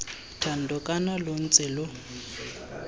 thando kana lo ntse lo